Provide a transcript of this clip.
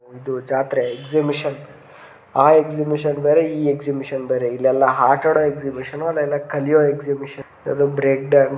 ಇದು ಜಾತ್ರೆ ಎಕ್ಸಿಬೀಷನ್ ಆ ಎಕ್ಸಿಬೀಷನ್ ಬೇರೆ ಈ ಎಕ್ಸಿಬೀಷನ್ ಬೇರೆ ಇಲ್ಲೆಲ್ಲಾ ಆಟ ಆಡೋ ಎಕ್ಸಿಬೀಷನ್ ಅಲ್ಲೆಲ್ಲಾ ಕಲಿಯೋ ಎಕ್ಸಿಬೀಷನ್ ಬ್ರೆಡ್ --